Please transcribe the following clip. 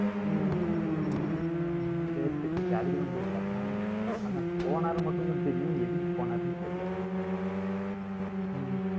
ஹம் சரி சரி சரி சரி அதுக்குத்தான் போயிருக்காரா ஆனா, போனாருன்னு மட்டும்தான் தெரியும். எதுக்கு போனாருன்னு தெரியல ஹம்